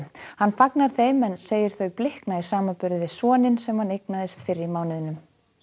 hann fagnar þeim en segir þau blikna í samanburði við soninn sem hann eignaðist fyrr í mánuðinum